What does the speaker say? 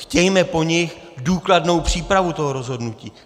Chtějme po nich důkladnou přípravu toho rozhodnutí.